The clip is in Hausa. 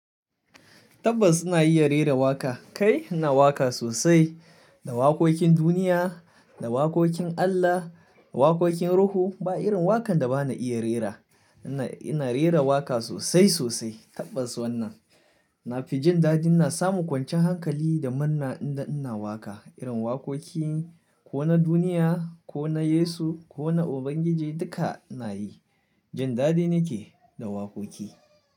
Tabbas ina iya rera waƙa. Kai ina waƙa sosai, da waƙoƙin duniya, da waƙoƙin Allah, waƙoƙin Ruhu. Ba irin waƙan da ba na iya rera. Ina, ina rera waƙa sosai sosai tabbas wannan. Na fi jin daɗi ina samu kwancin hankali da murna idan ina waƙa. Irin waƙoƙi ko na duniya ko na Yesu ko na Ubangiji duka ina yi. Jin daɗi nake da waƙoƙi.